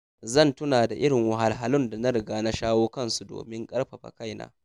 Zan tuna da irin wahalhalun da na riga na shawo kansu domin ƙarfafa kaina.